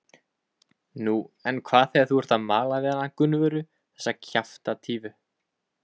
Nú, en hvað þegar þú ert að mala við hana Gunnvöru, þessa kjaftatífu?